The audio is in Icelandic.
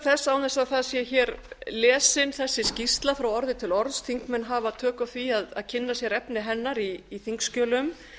án þess að það sé hér lesin þessi skýrsla frá orði til orðs þingmenn hafa tök á því að kynna sér efni hennar í þingskjölum